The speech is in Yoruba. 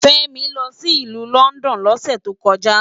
Femi lò si ilù Lòndòn lòsè tókòjá